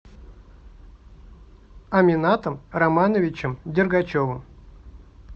аминатом романовичем дергачевым